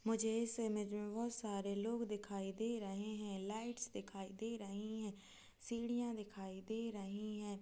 मुझे इस इमेज में बहोत सारे लोग दिखाई दे रहे है लाइट्स दिखाई दे रही है सीढ़ियां दिखाई दे रही है।